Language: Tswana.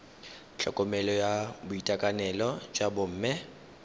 tlhokomelo ya boitekanelo jwa bomme